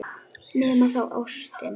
Nema þá ástin.